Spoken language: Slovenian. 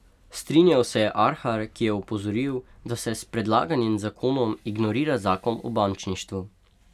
Strinjal se je Arhar, ki je opozoril, da se s predlaganim zakonom ignorira zakon o bančništvu.